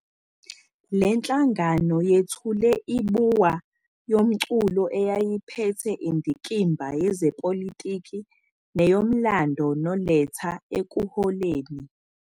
Le nhlangano yethule i-Buwa yomculo eyayiphethe indikimba yezepolitiki neyomlando noLetta ekuholeni.